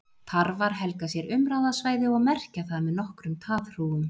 Tarfar helga sér umráðasvæði og merkja það með nokkrum taðhrúgum.